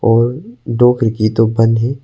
और दो खिड़की तो बंद है।